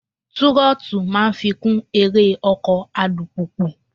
Túrọ́tù máa ń fikùn eré ọkọ̀ alùpùpù.